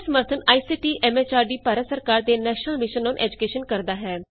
ਇਸ ਦਾ ਸਮਰੱਥਨ ਆਈਸੀਟੀ ਐਮ ਐਚਆਰਡੀ ਭਾਰਤ ਸਰਕਾਰ ਦੇ ਨੈਸ਼ਨਲ ਮਿਸ਼ਨ ਅੋਨ ਏਜੂਕੈਸ਼ਨ ਕਰਦਾ ਹੈ